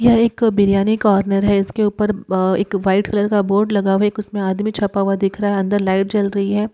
यह एक बिर्यानी कॉर्नर है। इसके ऊपर म एक व्हाईट कलर का बोर्ड लगा हुआ है। उसमें एक आदमी छपा हुआ दिख रहा है। अंदर लाइट जल रही है।